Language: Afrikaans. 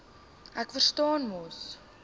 ek verstaan mos